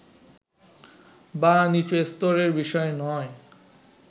বা নিচুস্তরের বিষয় নয়”